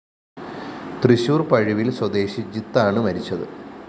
തൃശൂർ പഴുവില്‍ സ്വദേശി ജിത്ത് ആണ് മരിച്ചത്